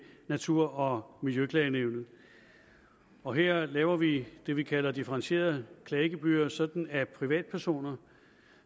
natur og miljøklagenævnet og her laver vi det vi kalder differentierede klagegebyrer sådan at for privatpersoner